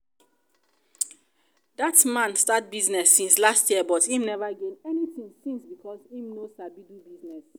dat man start business since last year but im never gain anything since because im no sabi do business